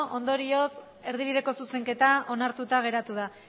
hogei ondorioz erdibideko zuzenketa onartuta geratu da